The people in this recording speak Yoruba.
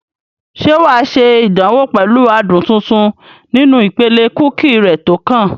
Ṣé wà á ṣe ìdánwò pẹ̀lú adùn tuntun nínú ìpele kúkì rẹ tó kàn?